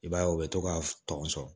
I b'a ye u bɛ to ka tɔn sɔrɔ